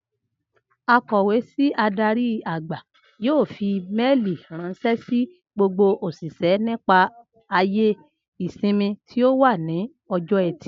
Akò̩wé sí adarí-àgbà yóò fi méèlì ráns̩é̩ sí gbogbo òs̩ìs̩é̩ nípa àyè ìsimi tí ó wà ní o̩jó̩ E̩tì